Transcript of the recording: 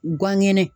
Gan ŋɛnɛ